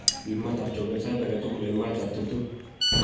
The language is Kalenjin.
Riip maatab chogeet sait age tugul en maatab 20�c.